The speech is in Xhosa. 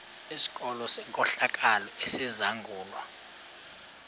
sikolo senkohlakalo esizangulwa